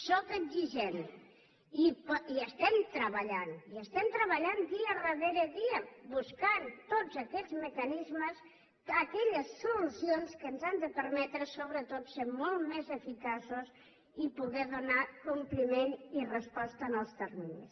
sóc exigent i hi estem treballant i hi estem treballant dia darrere dia buscant tots aquells mecanismes aquelles solucions que ens han de permetre sobretot ser molt més eficaços i poder donar compliment i resposta en els terminis